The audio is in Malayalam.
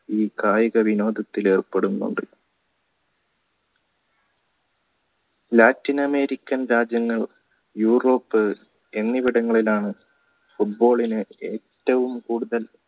കായിക വിനോദത്തിലേർപ്പെടുന്നുണ്ട് latin america ൻ രാജ്യങ്ങളും യൂറോപ്പ് എന്നിവിടങ്ങളിലാണ് football ന് ഏറ്റവും കൂടുതൽ